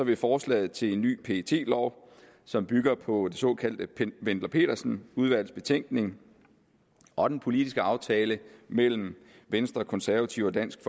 vil forslaget til en ny pet lov som bygger på det såkaldte wendler pedersen udvalgs betænkning og den politiske aftale mellem venstre konservative og dansk